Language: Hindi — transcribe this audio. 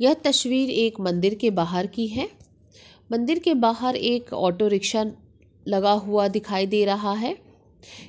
ये तस्वीर एक मंदिर के बाहर की है। मंदिर के बाहर एक ऑटो रिक्शा लगा हुआ दिखाई दे रहा है